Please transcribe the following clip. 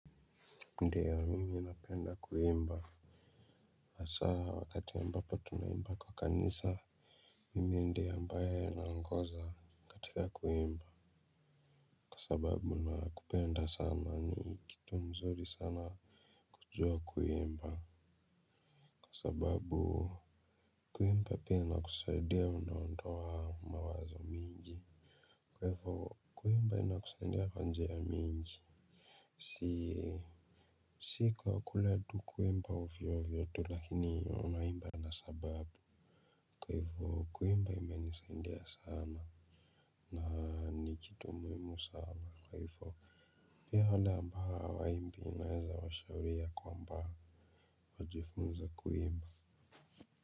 Ndio mimi napenda kuimba hasa wakati ambapo tunaimba kwa kanisa mimi ndiye ambaye naongoza katika kuimba kwa sababu napenda sana, ni kitu mzuri sana kujua kuimba, kwa sababu kuimba pia inakusaidia unaondoa mawazo mingi kwa ivo kuimba inakusaidia kwa njia mingi, si si kwa kule tu kuimba ovyo ovyo tu lakini unaimba na sababu kwa hivyo, kuimba imenisaidia sana na ni kitu muhimu sana. Kwa hivyo, pia wale ambao hawaimbi unaweza washauri ya kwamba wajifunze kuimba.